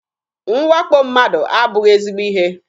Mwakpo mmadụ abụghị ezigbo ihe.